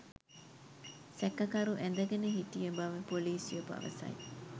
සැකකරු ඇඳගෙන සිටිය බව පොලීසිය පවසයි